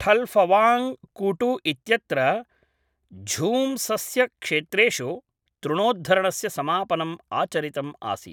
ठल्फवाङ्ग् कूटु इत्यत्र झूम्सस्यक्षेत्रेषु तृणोद्धरणस्य समापनम् आचरितम् आसीत्